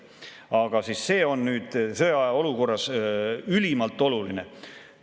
Aga see on nüüd sõjaolukorras ülimalt oluline.